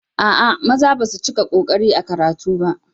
A'a, maza basu cika ƙoƙari ba a karatu.